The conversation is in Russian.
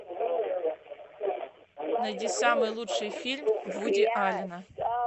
найди самый лучший фильм вуди аллена